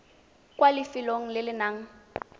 kwa lefelong le le nang